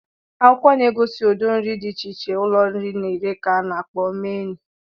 Akwụkwọ na-egosi ụdị nri dị iche iche ụlọ nri na-ere ka ana akpọ menụ.